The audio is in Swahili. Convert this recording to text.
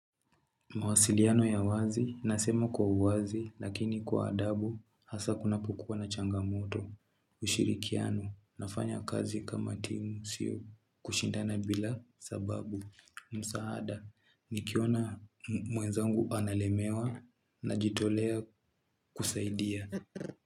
Mawasiliano ya wazi, nasema kwa uwazi, lakini kwa adabu, hasa kuna kuknapokua na changamoto. Ushirikiano, nafanya kazi kama timu sio kushindana bila sababu. Musaada, nikiona mwezangu analemewa na jitolea kusaidia.